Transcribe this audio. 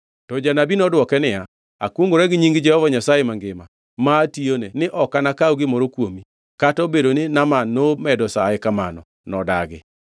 To janabi nodwoke niya, “Akwongʼora gi nying Jehova Nyasaye mangima, ma atiyone, ni ok anakaw gimoro kuomi.” Kata obedo ni Naaman nomedo saye kamano, nodagi.